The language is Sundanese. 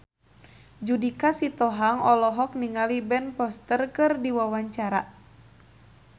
Judika Sitohang olohok ningali Ben Foster keur diwawancara